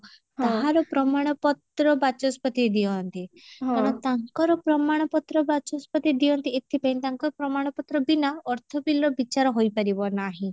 ତାହାର ପ୍ରମାଣ ପତ୍ର ବାଚସ୍ପତି ଦିଅନ୍ତି କାରଣ ତାଙ୍କର ପ୍ରମାଣ ପତ୍ର ବାଚସ୍ପତି ଦିଅନ୍ତି ଏଥିପାଇଁ ତାଙ୍କ ପ୍ରମାଣ ପତ୍ର ବିନା ଅର୍ଥ bill ର ବିଚାର ହୋଇପାରିବ ନାହିଁ